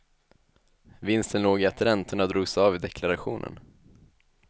Vinsten låg i att räntorna drogs av i deklarationen.